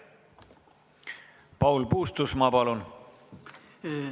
Paul Puustusmaa, palun!